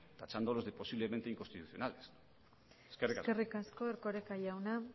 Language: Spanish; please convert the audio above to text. tachándolos de posiblemente inconstitucionales eskerrik asko eskerrik asko erkoreka jauna